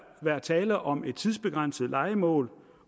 være tale om et tidsbegrænset lejemål